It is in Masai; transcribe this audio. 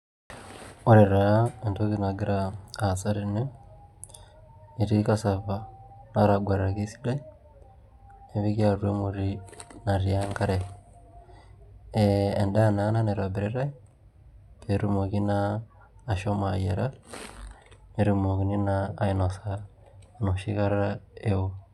Ore taa entoki nagira aasa tene etii cassava nataguataki esidai nepiki atua emoti natii enkare ee endaa naa ena naitobiritai pee etumoki naa ashomo ayiara pee etmokini naa ainasa enoshi kata eeo.